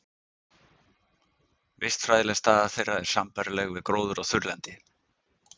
Vistfræðileg staða þeirra er sambærileg við gróður á þurrlendi.